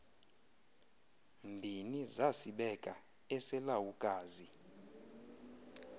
mbini zasibeka eselawukazi